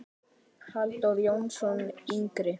Halldór Jónsson yngri.